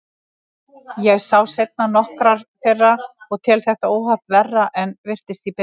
Ég sá seinna nokkrar þeirra og tel þetta óhapp verra en virtist í byrjun.